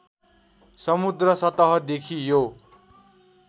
समुद्र सतहदेखि यो